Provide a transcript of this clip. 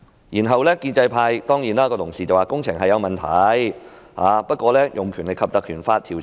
然後，建制派同事會說，工程確是有問題，但沒有必要引用《條例》來調查。